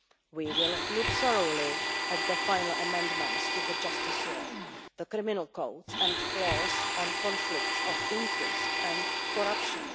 We will look thoroughly at the final amendments to the justice law, the criminal codes and laws on conflicts of interest and corruption.